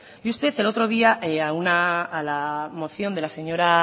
y usted el otro día a la moción de la señora